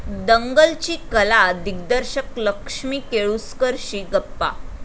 दंगल'ची कला दिग्दर्शक लक्ष्मी केळुसकरशी गप्पा